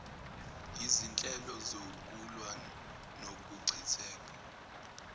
yizinhlelo zokulwa nokuchitheka